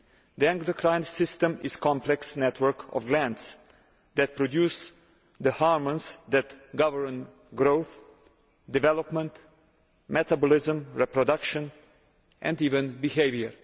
The endocrine system is a complex network of glands that produce the hormones that govern growth, development, metabolism, reproduction and even behaviour.